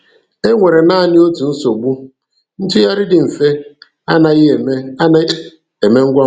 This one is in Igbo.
E nwere naanị otu nsogbu: Ntụgharị dị mfe anaghị eme anaghị eme ngwa ngwa.